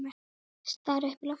Stari upp í loftið.